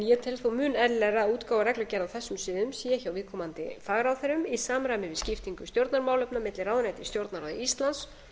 enég tel þó mun eðlilegra að útgáfa reglugerða á þessum sviðum sé hjá viðkomandi fagráðherrum í samræmi við skiptingu stjórnarmálefna milli ráðuneyta í stjórnarráði íslands